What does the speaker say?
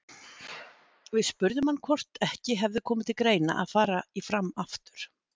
Við spurðum hann hvort ekki hefði komið til greina að fara í Fram aftur?